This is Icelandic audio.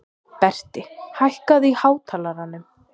Berti, hækkaðu í hátalaranum.